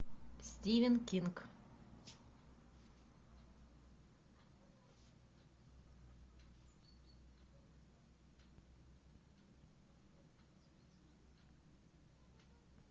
стивен кинг